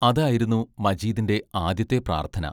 അതായിരുന്നു മജീദിന്റെ ആദ്യത്തെ പ്രാർത്ഥന.